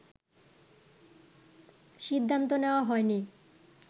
সিদ্ধান্ত নেওয়া হয়নি